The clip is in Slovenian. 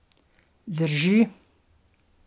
Drži.